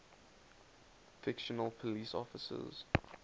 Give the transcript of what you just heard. fictional police officers